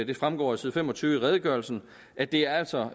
det fremgår af side fem og tyve i redegørelsen at det altså